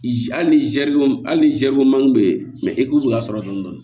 Hali ni zɛriw hali ni zari ko man di e ye e k'u ka sɔrɔ dɔn dɔn